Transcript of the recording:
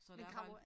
Så der er